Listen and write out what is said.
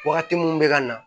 Wagati mun bɛ ka na